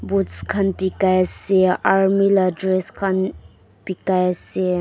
boots khan bekai ase army la dress khan bekai ase.